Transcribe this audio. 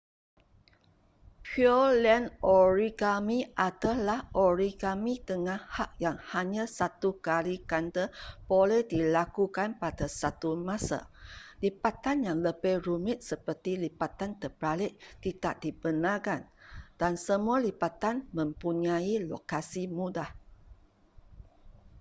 pureland origami adalah origami dengan had yang hanya satu kali ganda boleh dilakukan pada satu masa lipatan yang lebih rumit seperti lipatan terbalik tidak dibenarkan dan semua lipatan mempunyai lokasi mudah